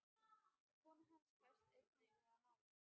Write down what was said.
Kona hans fæst einnig við að mála.